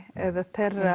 eða